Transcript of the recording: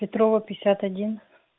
петрова пятьдесят один